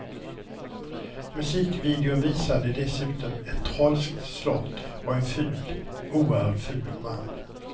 Musikvideon visade dessutom ett trolskt slott och en ful, oerhört ful man.